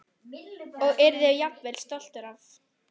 Og yrði jafnvel stoltur af.